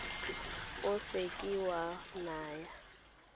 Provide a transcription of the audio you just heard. o se ke wa naya